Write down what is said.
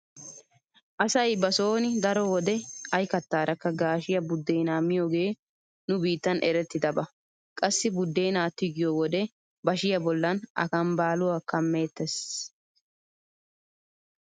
Asay ba sooni daro wode ay kattaarakka gaashiya buddeenaa miyogee nu biittan erettidaba. Qassi buddeenaa tigiyo wode bashiya bollan akambbaaluwa kammeettees.